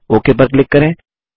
okay पर click करें